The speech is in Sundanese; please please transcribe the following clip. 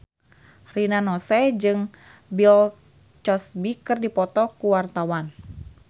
Rina Nose jeung Bill Cosby keur dipoto ku wartawan